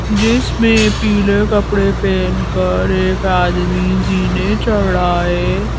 जिसमें पीले कपड़े पहनकर एक आदमी ज़ीने चढ़ रहा है।